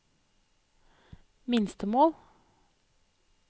minstemål